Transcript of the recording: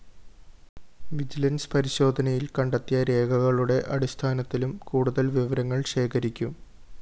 vigilance പരിശോധനയില്‍ കണ്ടെത്തിയ രേഖകളുടെ അടിസ്ഥാനത്തിലും കൂടുതല്‍ വിവരങ്ങള്‍ ശേഖരിക്കും